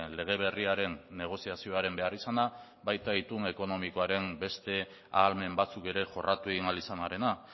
lege berriaren negoziazioaren beharrizana baita itun ekonomikoaren beste ahalmen batzuk ere jorratu egin ahal izanarena